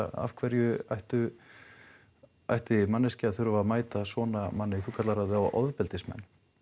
af hverju ætti ætti manneskja að þurfa að mæta svona manni þú kallar þá ofbeldismenn